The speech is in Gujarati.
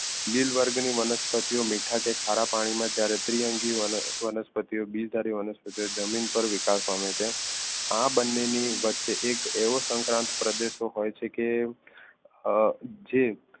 લીલ વર્ગની વનસ્પતિઓ મીઠા કે ખારા પાણીમાં ત્યારે દ્વિઅંગી ઓ વનસ્પતિઓ બીજધારી વનસ્પતિ જમીન પર વિકાસ પામે છે. આ બંનેની વચ્ચે એક એવો સંક્રાંત પ્રદેશો હોય છે કે અ જે